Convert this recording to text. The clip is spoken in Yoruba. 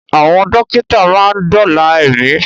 Àwọn dókítà máa ń dóòlà ẹ̀mí